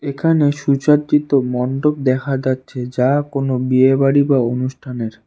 এখানে সুচাদ্রিত মন্ডপ দেখা যাচ্ছে যা কোনো বিয়ে বাড়ি বা অনুষ্ঠানের।